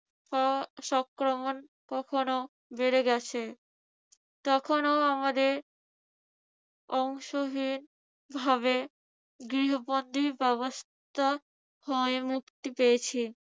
উহ সংক্রমণ কখনো বেড়ে গেছে। তখনও আমাদের অংশহীনভাবে গৃহবন্ধি ব্যবস্থা হয়ে মুক্তি পেয়াছি।